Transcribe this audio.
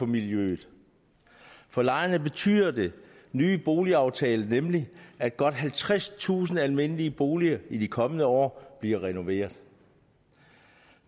miljøet for lejerne betyder den nye boligaftale nemlig at godt halvtredstusind almindelige boliger i de kommende år bliver renoveret